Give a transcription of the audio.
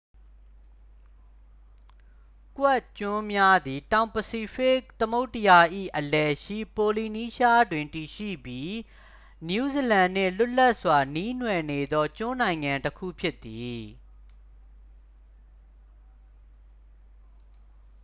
ကွက်ခ်ကျွန်းများသည် တောင်ပစိဖိတ် သမုဒ္ဒရာ၏ အလယ်ရှိ ပိုလီနီးရှားတွင် တည်ရှိပြီး နယူးဇီလန်နှင့် လွတ်လပ်စွာ နှီးနွှယ်နေသော ကျွန်းနိုင်ငံတစ်ခု ဖြစ်သည်